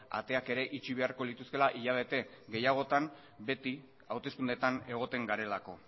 ateak ere itxi beharko lituzkeela hilabete gehiagotan beti hauteskundeetan egoten garelako